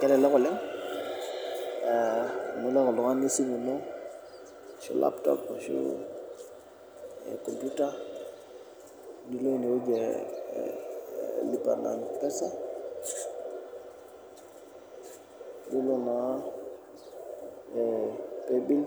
Kelelek oleng amu ilo ake oltungani esimu ino, ashu laptop ashu komputa, nilo ineweji elipa na mpesa ,nilo naa playbill